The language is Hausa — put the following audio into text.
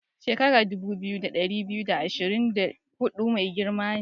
Shekaran dubu biyu, da ɗari biyu da ashirin da hudu mai girma ne.